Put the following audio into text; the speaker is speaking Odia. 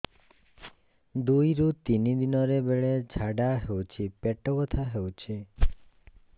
ଦୁଇରୁ ତିନି ଦିନରେ ବେଳେ ଝାଡ଼ା ହେଉଛି ପେଟ ବଥା ହେଉଛି